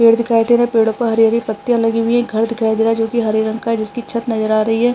पेड़ दिखाई दे रहे हैं पेड़ों पर हरी-हरी पत्तियाँ लगी हुई है घर दिखाई दे रहा है जो कि हरे रंग का है जिसकी छत नज़र आ रही है।